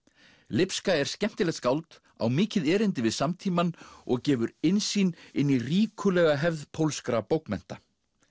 lipska er skemmtilegt skáld á mikið erindi við samtímann og gefur innsýn inn í ríkulega hefð pólskra bókmennta